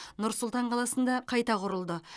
нұр сұлтан қаласында қайта құрылды